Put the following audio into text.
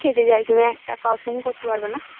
যদি খেতে যাই তুমি একটা কারোর সঙ্গে করতে পারবে না